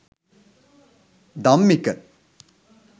dammika